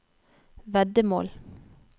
veddemål